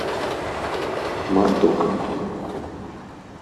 моздок